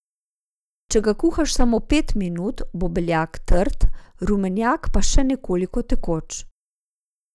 Če ga kuhaš samo pet minut, bo beljak trd, rumenjak pa še nekoliko tekoč.